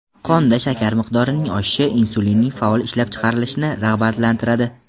Qonda shakar miqdorining oshishi insulinning faol ishlab chiqarilishini rag‘batlantiradi.